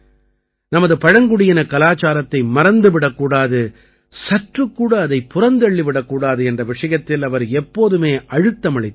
நமது பழங்குடியினக் கலாச்சாரத்தை மறந்து விடக் கூடாது சற்றுக்கூட அதைப் புறந்தள்ளிவிடக் கூடாது என்ற விஷயத்தில் அவர் எப்போதுமே அழுத்தமளித்து வந்தார்